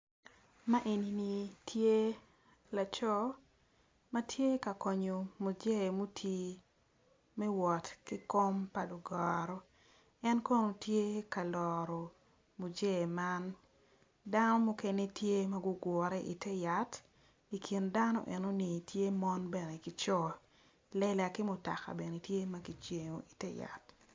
Ma enini tye laco matye ka konyo musei ma oti me wot ki kom pa lugoro en kono tye ka loro muzei man sano mukene tye ma gugure iter yat i kin dano enoni tye mon bene kico lela ki mutoka bene tye ma kicibo i ter yat.